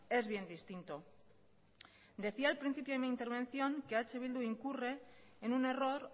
es bien distinto decía al principio de mi intervención que eh bildu incurre en un error